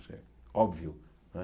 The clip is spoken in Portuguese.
Isso é óbvio. Não é